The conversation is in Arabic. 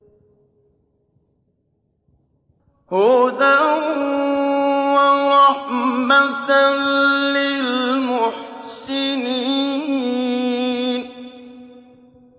هُدًى وَرَحْمَةً لِّلْمُحْسِنِينَ